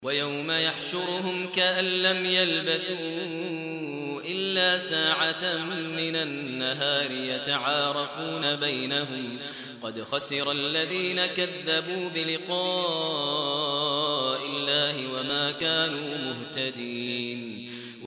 وَيَوْمَ يَحْشُرُهُمْ كَأَن لَّمْ يَلْبَثُوا إِلَّا سَاعَةً مِّنَ النَّهَارِ يَتَعَارَفُونَ بَيْنَهُمْ ۚ قَدْ خَسِرَ الَّذِينَ كَذَّبُوا بِلِقَاءِ اللَّهِ وَمَا كَانُوا مُهْتَدِينَ